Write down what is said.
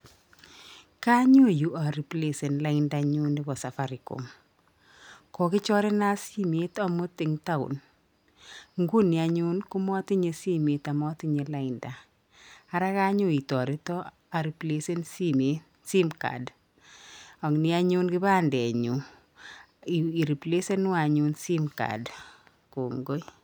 Kanyo yu ariplesen laindanyu nebo safaricom. Kokichorena simeet amuut eng town. Nguni anyu komatinye simet amatinye lainda. Ara kanyoo itaretoo areplasen simeet simcard. Ag'nii anyun kibandenyu iriplesenwo anyun simcard.